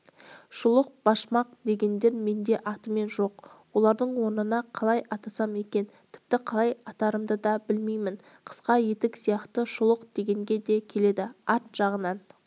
шұлық башмақ дегендер менде атымен жоқ олардың орнына қалай атасам екен тіпті қалай атарымды да білмеймін қысқа етік сияқты шұлық дегенге де келеді арт жағынан